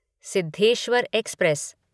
Siddheshwar express